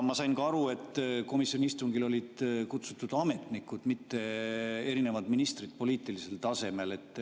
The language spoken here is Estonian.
Ma sain ka aru, et komisjoni istungile olid kutsutud ametnikud, mitte erinevad ministrid poliitilisel tasemel.